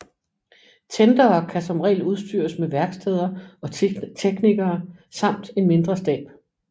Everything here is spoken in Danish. Tendere kan som regel udstyres med værksteder og teknikere samt en mindre stab